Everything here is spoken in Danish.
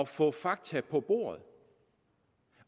få fakta på bordet